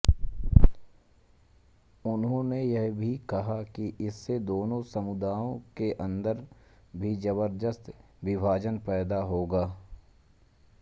उन्होंने यह भी कहा कि इससे दोनों समुदायों के अन्दर भी जबर्दश्त विभाजन पैदा होगा